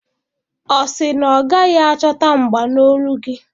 Ọ sị na ọ gaghị achọta mgba n'olu gị?